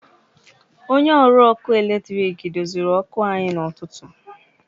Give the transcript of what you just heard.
Onye ọrụ ọkụ eletrik doziri ọkụ anyị n’ụtụtụ.